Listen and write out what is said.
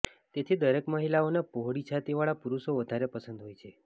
તેથી દરેક મહિલાઓ ને પહોળી છાતી વાળા પુરુષો વધારે પસંદ હોય છે